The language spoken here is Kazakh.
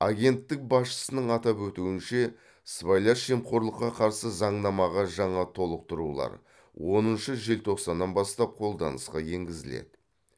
агенттік басшысының атап өтуінше сыбайлас жемқорлыққа қарсы заңнамаға жаңа толықтырулар оныншы желтоқсаннан бастап қолданысқа енгізіледі